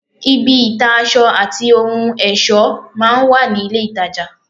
ibi ìta aṣọ àti ohun ẹ̀ṣọ́ máa ń wà ní ilé-ìtajà